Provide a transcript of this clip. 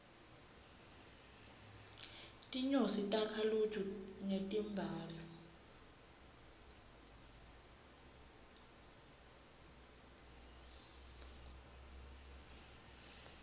tinyosi takha luju ngetimbali